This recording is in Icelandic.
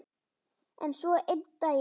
En svo einn daginn.